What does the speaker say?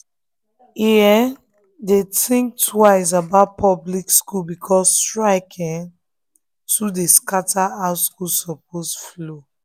e um dey think twice about public school because strike um too dey scatter how school supposed flow.